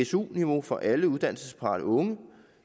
su niveau for alle uddannelsesparate unge